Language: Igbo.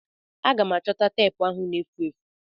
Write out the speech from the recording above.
Aga m achọta teepu ahụ na-efu efu.